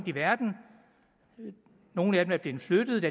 i verden nogle af dem er blevet flyttet